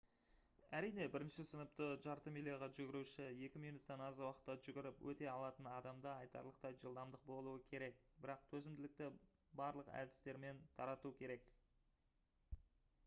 әрине бірінші сыныпты жарты миляға жүгіруші екі минуттан аз уақытта жүгіріп өте алатын адамда айтарлықтай жылдамдық болуы керек бірақ төзімділікті барлық әдістермен тарату керек